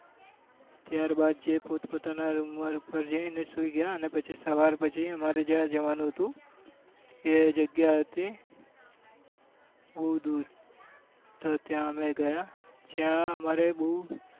ત્યાર બાદ જે પોતપોતાના room ઉપર જઈ ને સુઈ ગયા અને પછી સવાર પછી અમાર જવા નું હતું એ જગ્યા હતી બઉ દુ તો ત્યાં અમે ગયા જ્યાં અમારે બઉ